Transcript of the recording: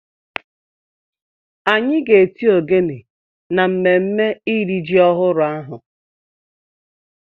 Anyị ga-eti ogene na mmemme iri ji ọhụrụ ahụ